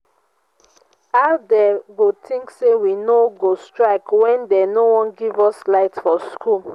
how dey go think say we no go strike wen dey no wan give us light for school